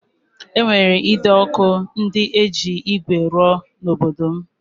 E nwere ide ọkụ ndị eji ígwè rụọ n'obodo m